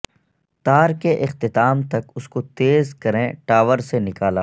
تار کے اختتام تک اس کو تیز کریں ٹاور سے نکالا